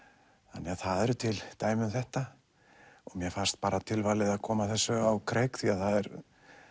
þannig að það eru til dæmi um þetta og mér fannst tilvalið að koma þessu á kreik því það er